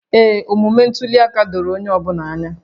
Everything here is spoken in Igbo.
Ee, omume ntuli aka doro onye ọ bụla anya